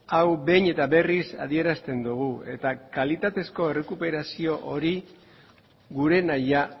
hau behin eta berriz adierazten dugu eta kalitatezko errekuperazio hori gure nahia